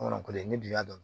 ni dugu y'a dɔn